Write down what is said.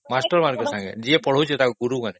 master ମାନଙ୍କ ସଂଗେ ଯିଏ ପଢାଉଛି ସେଇ ଗୁରୁମାନେ